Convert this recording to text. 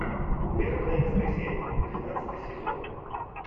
вербное воскресенье двенадцатый сезон